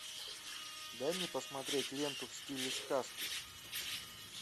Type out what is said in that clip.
дай мне посмотреть ленту в стиле сказки